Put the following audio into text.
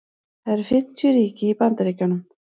það eru fimmtíu ríki í bandaríkjunum